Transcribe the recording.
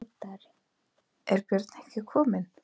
Er Björn ekki kominn?